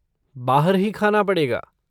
बाहर ही खाना पड़ेगा।